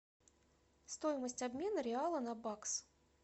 стоимость обмена реала на бакс